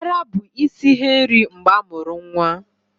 Ara bụ isi ihe nri mgbe amuru nwa